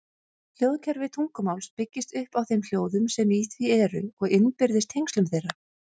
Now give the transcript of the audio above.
Hljóðkerfi tungumáls byggist upp á þeim hljóðum sem í því eru og innbyrðis tengslum þeirra.